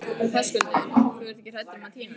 Höskuldur: Þú ert ekki hrædd um að týna því?